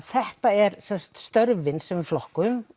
þetta eru störfin sem við flokkum